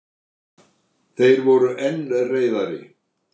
Þeir voru enn reiðari.